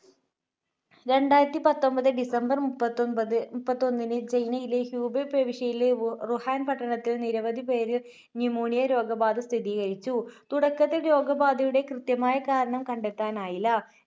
രണ്ടായിരത്തിപത്തൊൻപത് December മുപ്പത്തൊൻപത്, മുപ്പത്തിഒന്നിൽ ചൈനയിലെ ഹ്യൂബേ പ്രവിശ്യയിലെ വു~വുഹാൻ പട്ടണത്തിൽ നിരവധി പേര് pneumonia രോഗബാധ സ്ഥിതീകരിച്ചു. തുടക്കത്തിൽ രോഗബാധയുടെ കൃത്യമായ കാരണം കണ്ടെത്താനായില്ല.